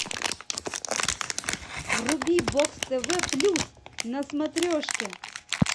вруби бокс тв плюс на смотрешке